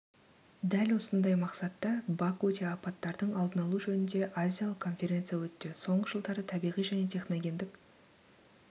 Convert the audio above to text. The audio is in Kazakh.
дәл осындай мақсатта бакуде апаттардың алдын алу жөнінде азиялық конференция өтті соңғы жылдары табиғи және техногендік